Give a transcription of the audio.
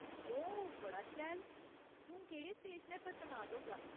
ओह्, बड़ा शैल ! तूं केह्ड़े स्टेशनै पर तनात होगा ?